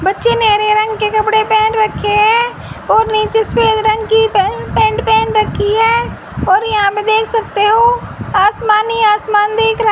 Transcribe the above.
बच्चे ने हरे रंग के कपड़े पहन रखे हैं और नीचे सफेद रंग की पेंट पैंट पहन रखी है और यहां पे देख सकते हो आसमान ही आसमान दिख रहा--